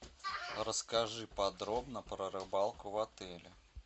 расскажи подробно про рыбалку в отеле